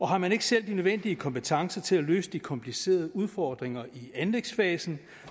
har man ikke selv de nødvendige kompetencer til at løse de komplicerede udfordringer i anlægsfasen